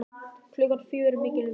Klukkan fjögur er mikil umferð.